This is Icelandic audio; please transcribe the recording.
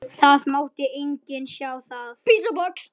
Það mátti enginn sjá það.